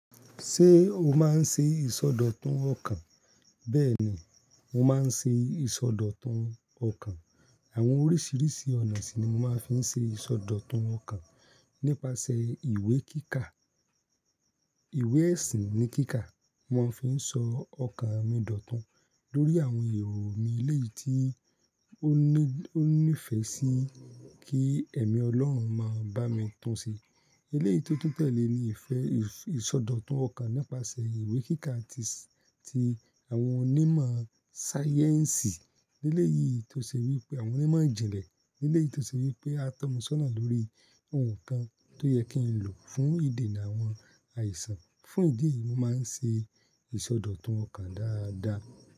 Ṣé o máa ń ṣe ìsọdọ̀tun ọkàn? Bẹ́ẹ̀ni, mo máa ń ṣe ìsọdọ̀tun ọkàn. Àwọn oríṣiríṣi ọ̀nà sì ni mo máa ń fi ṣe ìsọdọ̀tun ọkàn. Nípasẹ̀ ìwé kíkà, ìwé ẹ̀sìn ní kíkà, mo fi ń sọ ọkàn mi dòtun lórí àwọn èrò mi eléyìí tí ó ní ìfẹ́ sí kí ẹ̀mí Ọlọ́run máa bá mi tún ṣe. Eléyìí tó tún tẹ̀lé ni ìfẹ́ ìsọdọ̀tun ọkàn nípasẹ̀ ìwé kíkà tí àwọn onímọ̀ sáyẹ́ǹsì nílé yìí tó ṣe wí pé àwọn onímọ̀ ìjìnlẹ̀ nílé yìí tó ṣe wí pé a tọ́ mu sọ́nà lórí ohun kan tó yẹ kí n lò fún ìdíni àwọn àìsàn. Fún ìdí eyìí, mo máa ń ṣe ìsọdọ̀tun ọkàn dáadáa.